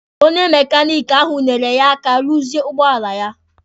Onye mekaniki ahụ nyeere ya aka ruzie ụgbọala ya